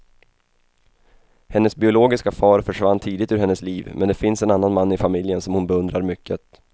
Hennes biologiska far försvann tidigt ur hennes liv, men det finns en annan man i familjen som hon beundrar mycket.